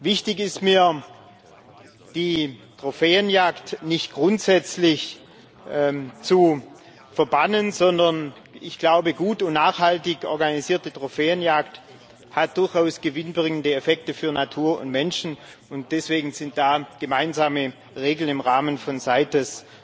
Wichtig ist mir, die Trophäenjagd nicht grundsätzlich zu verbannen, denn ich glaube, gut und nachhaltig organisierte Trophäenjagd hat durchaus gewinnbringende Effekte für Natur und Menschen, und deswegen sind da gemeinsame Regeln im Rahmen von CITES